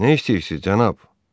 Nə istəyirsiz cənab?